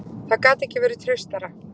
Það gat ekki verið traustara.